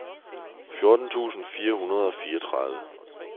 fjorten tusind fire hundrede og fireogtredive